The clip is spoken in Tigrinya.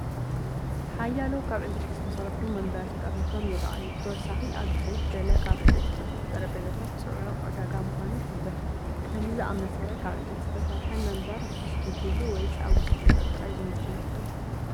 ሓያሎ ካብ ዕንጨይቲ ዝተሰርሑ መንበር ተጠርኒፎም ይረኣዩ። ብተወሳኺ ኣብ ድሕሪት ገለ ካብ ዕንጨይቲ ዝተሰርሑ ጠረጴዛታት ጽዑቕ ዕዳጋ ምዃኑ ይሕብር። ከምዚ ዝኣመሰለ ካብ ዕንጨይቲ ዝተሰርሐ መንበር ውሑስ ድዩ ትብሉ? ወይስ ኣብ ውሽጢ ገዛ ጥራይ ዝምችኡ ይመስለኩም?